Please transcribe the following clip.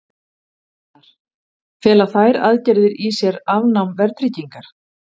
Gunnar: Fela þær aðgerðir í sér afnám verðtryggingar?